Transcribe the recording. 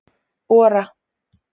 Ora